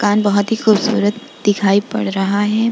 माकन बोहोत ही खूबसूरत दिखाई पड़ रहा है।